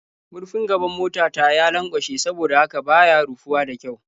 Murfin gaban mota ta ya lanƙwashe saboda haka ba ya rufuwa da ƙyau.